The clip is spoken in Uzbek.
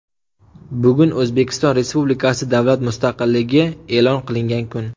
Bugun O‘zbekiston Respublikasi davlat mustaqilligi e’lon qilingan kun .